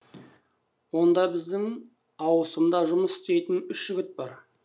онда біздің ауысымда жұмыс істейтін үш жігіт тұрды